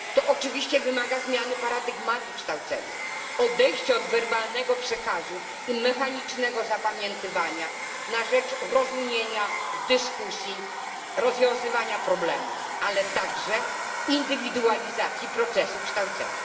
To oczywiście wymaga zmiany paradygmatu kształcenia, odejścia od werbalnego przekazu i mechanicznego zapamiętywania na rzecz rozumienia, dyskusji, rozwiązywania problemów, ale także indywidualizacji procesu kształcenia.